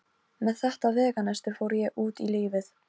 Heiða sleit dolluna frá vörunum og ropaði.